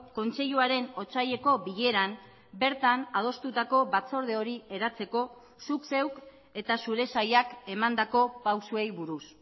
kontseiluaren otsaileko bileran bertan adostutako batzorde hori eratzeko zuk zeuk eta zure sailak emandako pausuei buruz